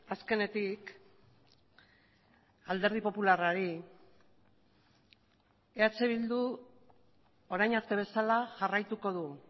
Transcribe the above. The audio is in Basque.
azkenetik alderdi popularrari eh bildu orain arte bezala jarraituko du